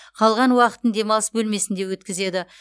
қалған уақытын демалыс бөлмесінде өткізеді